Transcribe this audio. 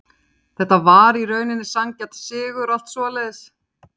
Þetta var í rauninni sanngjarn sigur og allt svoleiðis.